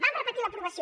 vam repetir l’aprovació